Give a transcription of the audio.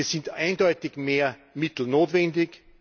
Hier sind eindeutig mehr Mittel notwendig.